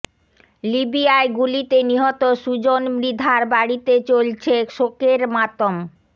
লিবিয়ায় গুলিতে নিহত সুজন মৃধার বাড়িতে চলছে শোকের মাতম